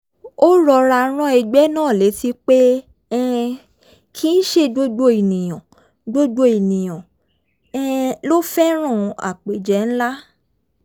ó rọra rán ẹgbẹ́ náà létí pé um kì í ṣe gbogbo èèyàn gbogbo èèyàn um ló fẹ́ràn àpéjẹ ńlá